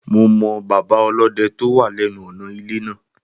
Mo mọ bàbá ọlọ́dẹ tó wà lẹ́nu ọ̀nà ilé náà